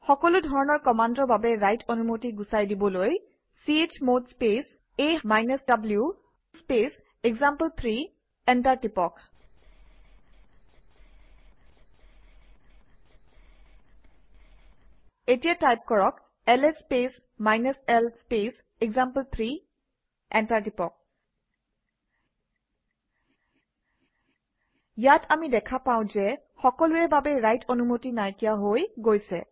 সকলো ধৰণৰ কমাণ্ডৰ বাবে ৰাইট অনুমতি গুচাই দিবলৈ - chmod space a w space example three enter টিপক এতিয়া টাইপ কৰক - LS space l space example three enter টিপক ইয়াত আমি দেখা পাওঁ যে সকলোৰে বাবে ৰাইট অনুমতি নাইকিয়া হৈ গৈছে